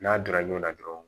N'a donna ɲɔn na dɔrɔn